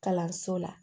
Kalanso la